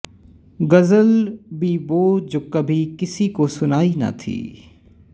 ਗ਼ਜ਼ਲ ਭੀ ਵੋਹ ਜੋ ਕਭੀ ਕਿਸੀ ਕੋ ਸੁਨਾਈ ਨਾ ਥੀ